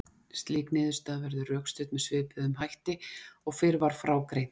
Slík niðurstaða verður rökstudd með svipuðum hætti og fyrr var frá greint.